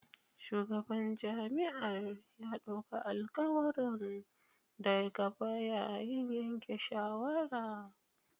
Shugaban jami'ar ya dauka alkawuran da gaba yayin yanke shawara